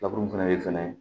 Laburu fɛnɛ be fɛnɛ